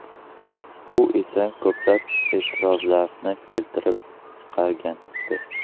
Bu esa ko‘plab e’tirozlarni keltirib chiqargandi .